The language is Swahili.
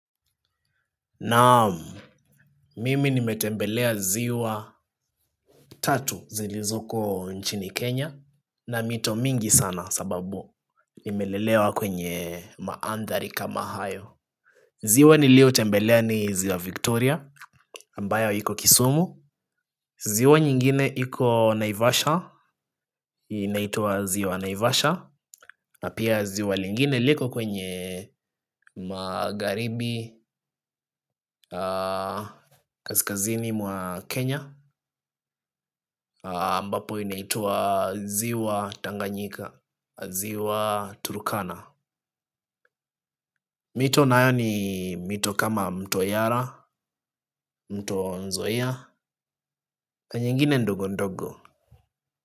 Naam, mimi nimetembelea ziwa tatu zilizoko nchini Kenya na mito mingi sana, sababu nimelelewa kwenye maandhari kama hayo, ziwa nilio tembelea ni ziwa Victoria, ambayo iko kisumu. Ziwa nyingine iko Naivasha, inaitwa ziwa Naivasha. Na pia ziwa lingine liko kwenye magharibi. Kaskazini mwa Kenya. Ambapo inaitwa ziwa Tanganyika, ziwa Turukana. Mito nayo ni mito kama mto Yara, mto Nzoia, na nyingine ndogo ndogo.